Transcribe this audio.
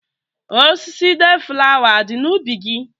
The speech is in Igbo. Osisi deeflawa a dị n'ubi gị?